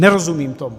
Nerozumím tomu.